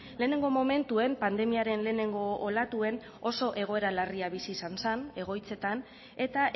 lehenengo momentuen pandemiaren lehenengo olatuen oso egoera larria bizi izan zen egoitzetan eta